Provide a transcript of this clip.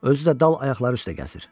Özü də dal ayaqları üstə gəzir.